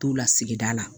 T'u la sigida la